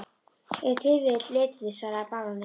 Ef til vill litirnir, svaraði baróninn.